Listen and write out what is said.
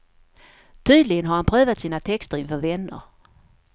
Tydligen har han prövat sina texter inför vänner.